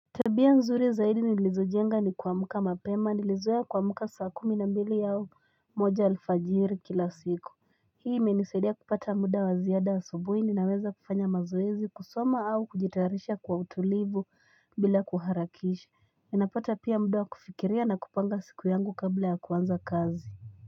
Tabia nzuri zaidi ni lizojenga ni kuamka mapema nilizoea kuamka saa kumi na mbili au moja alfajiiri kila siku. Hii menisadi ya kupata muda wa zia da subuhi ni na weza fanya mazoezi kusoma au kujitarisha kwa utulivu bila kuharakishi. Enapata pia mudawa kufikiria na kupanga siku yangu kabla ya kwanza kazi.